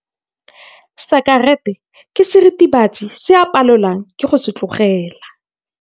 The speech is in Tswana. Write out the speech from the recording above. Sekerete ke seritibatsi se a palelwang ke go se tlogela.